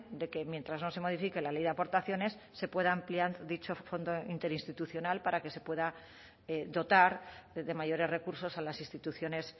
de que mientras no se modifique la ley de aportaciones se pueda ampliar dicho fondo interinstitucional para que se pueda dotar de mayores recursos a las instituciones